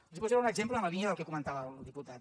els posaré un exemple en la línia del que comentava el diputat